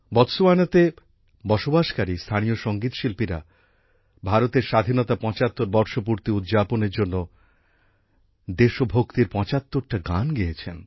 বোটসোয়ানাতে বসবাসকারী স্থানীয় সঙ্গীতশিল্পীরা ভারতের স্বাধীনতার পঁচাত্তর বর্ষপূর্তি উদযাপনের জন্য দেশভক্তির পঁচাত্তরটা গান গেয়েছেন